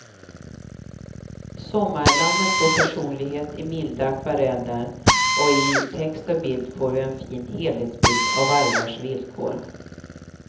Sommarlammet får personlighet i milda akvareller och i text och bild får vi en fin helhetsbild av vargars villkor.